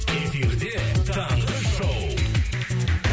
эфирде таңғы шоу